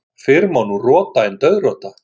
Fyrr má nú rota en dauðrota.